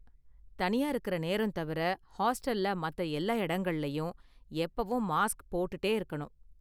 தனியா இருக்குற நேரம் தவிர ஹாஸ்டல்ல மத்த எல்லா எடங்கள்லையும் எப்போவும் மாஸ்க் போட்டுட்டே இருக்கணும்.